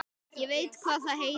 Ég veit hvað það heitir